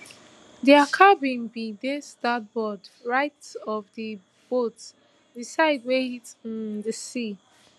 dia cabin bin dey starboard right of di boat di side wey hit um di sea